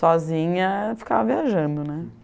Sozinha, ficava viajando, né?